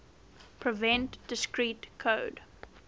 prevent discrete code